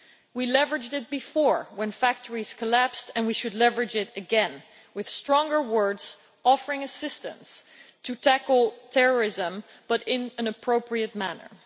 We leveraged it before when factories collapsed and we should leverage it again, with stronger words offering assistance to tackle terrorism, but in an appropriate manner.